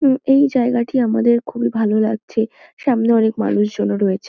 উ এই জায়গাটি আমাদের খুবই ভালো লাগছে। সামনে অনেক মানুষ জনও রয়েছে।